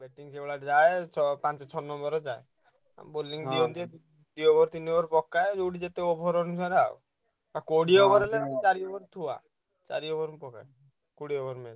ସେଇଭଳିଆ ଯାଏ ଛ ପାଞ୍ଚ ଛଅ number ରେ ଯାଏ। bowling ଦିଅନ୍ତି। ଦି over ତିନି over ଯାଏ ଯୋଉଠି ଯେତେ over ଅନୁସାରେ ଆଉ। ଆଉ କୋଡିଏ over ହେଲେ ଚାରି ଥୁଆ। ଚାରି over ଥୁଆ। କୋଡିଏ over